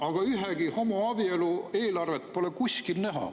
Aga ühegi homoabielu eelarvet pole kuskil näha.